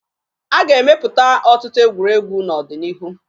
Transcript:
A ga-emepụta ọtụtụ egwuregwu n'ọdịnihu